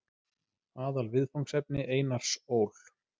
Aðalviðfangsefni Einars Ól.